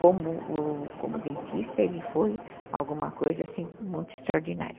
como o, como dentista ele foi alguma coisa assim, muito extraordinária.